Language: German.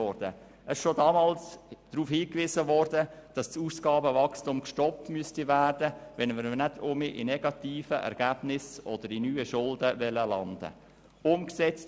Es wurde schon damals darauf hingewiesen, dass das Ausgabenwachstum gestoppt werden müsse, wenn man nicht wieder bei negativen Ergebnissen oder neuen Schulden landen wolle.